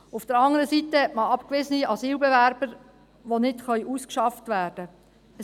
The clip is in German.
Auf der anderen Seite hat man abgewiesene Asylbewerber, die nicht ausgeschafft werden können.